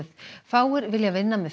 fáir vilja vinna með